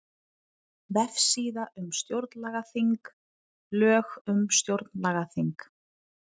Vefsíða um stjórnlagaþing Lög um stjórnlagaþing